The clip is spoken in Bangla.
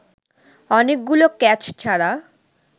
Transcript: অনেকগুলো ক্যাচ ছাড়া